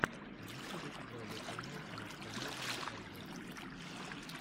в ютюбе игровой канал макса нормала обзор